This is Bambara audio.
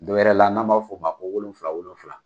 Dɔ wɛrɛ la n'an b'a fo ma ko wolonfila wolonfila.